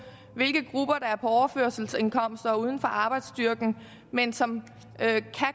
overførselsindkomst og uden for arbejdsstyrken men som kan